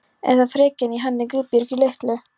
Eða frekjan í henni Guðbjörgu litlu.